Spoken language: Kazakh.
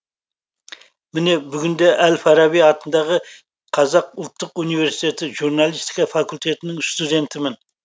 міне бүгінде әл фараби атындағы қазақ ұлттық университеті журналистика факультетінің студентімін